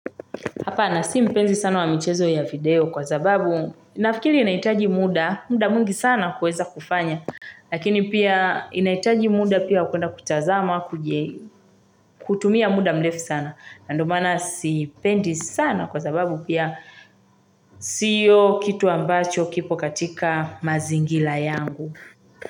Hapa na si mpenzi sana wa mchezo ya video kwa zababu na fikiri inaitaji muda, muda mwingi sana kueza kufanya. Lakini pia inahitaji muda pia wa kwenda kutazama, kutumia muda mrefu sana. Nando maana si pendi sana kwa sababu pia sio kitu ambacho kipo katika mazingira yangu.